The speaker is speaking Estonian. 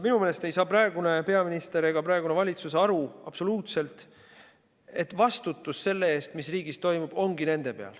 Minu meelest ei saa praegune peaminister ega praegune valitsus absoluutselt aru, et vastutus selle eest, mis riigis toimub, ongi nende peal.